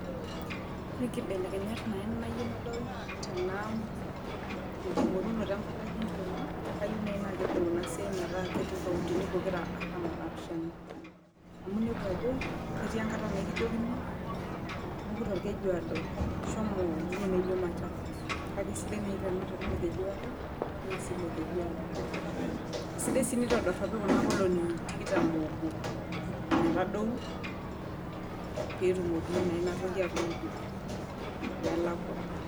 Ore nkibelekenyat nanu nayieu nanu nadol Tena tenkingorunoto empalai enkiama na kayieu naaji na kedou Ina siai metaa ketii inkauntini pokira artam onaapishana, amu inepu Ajo ketii enkata naa ekijokini tupuku tolkejuado shomo ewueji naajio machakos kake kesidai naaji tenaa tenaa olkejuado niasie Ilo kejuado . Sidai sii tenitodoropi Kuna olongi tikitam oobo metadou pee etumoki naa Ina toki atupuku amu kelakua.